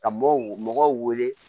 Ka mɔgɔw mɔgɔw wele